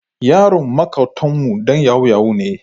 Yaron maƙotanmu ɗan yahu-yahu ne.